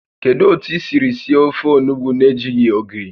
Kedu otu I siri sie ofe onugbu na-ejighị ogiri?